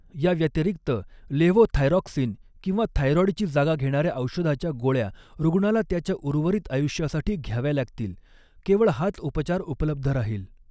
याव्यतिरिक्त, लेव्होथायरॉक्सिन किंवा थायरॉईडची जागा घेणाऱ्या औषधाच्या गोळ्या रुग्णाला त्याच्या उर्वरित आयुष्यासाठी घ्याव्या लागतील, केवळ हाच उपचार उपलब्ध राहील.